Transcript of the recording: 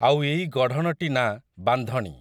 ଆଉ ଏଇ ଗଢ଼ଣଟି ନାଁ ବାନ୍ଧଣୀ ।